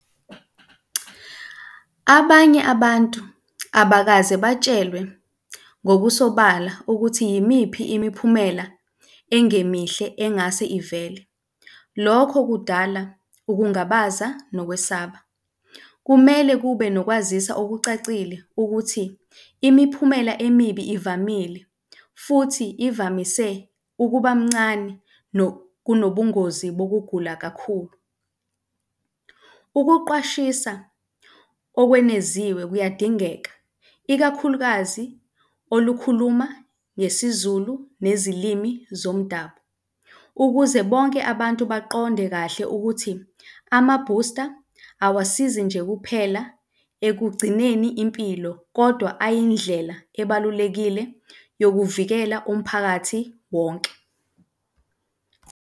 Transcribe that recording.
Abanye abantu abakaze batshelwe ngokusobala ukuthi yimiphi imiphumela engemihle engase ivele. Lokho kudala ukungabaza nokwesaba. Kumele kube nokwazisa okucacile ukuthi imiphumela emibi evamile futhi ivamise ukubamncane kunobungozi nokugula kakhulu. Ukuqwashisa okweneziwe kuyadingeka, ikakhulukazi olukhuluma ngesiZulu nezilimi zomdabu. Ukuze bonke abantu baqonde kahle ukuthi amabhusta awasizi nje kuphela ekugcineni impilo kodwa ayindlela ebalulekile yokuvikela umphakathi wonke.